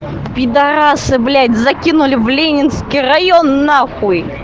пидораса блять закинули в ленинский район нахуй